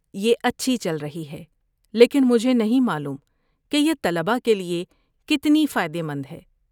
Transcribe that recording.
یہ اچھی چل رہی ہے لیکن مجھے نہیں معلوم کہ یہ طلباء کے لیے کتنی فائدہ مند ہے۔